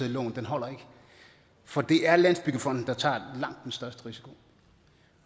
lån holder ikke for det er landsbyggefonden der tager langt den største risiko